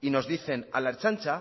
y nos dicen a la ertzaintza